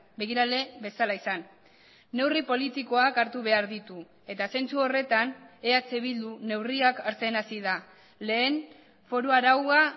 begirale bezala izan neurri politikoak hartu behar ditu eta zentzu horretan eh bildu neurriak hartzen hasi da lehen foru araua